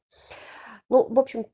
ну вобщем